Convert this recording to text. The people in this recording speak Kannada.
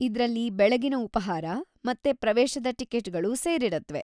ಇದ್ರಲ್ಲಿ ಬೆಳಗಿನ ಉಪಾಹಾರ ಮತ್ತು ಪ್ರವೇಶದ ಟಿಕೆಟ್‌ಗಳು ಸೇರಿರತ್ವೆ.